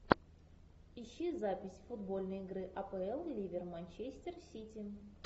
ищи запись футбольной игры апл ливер манчестер сити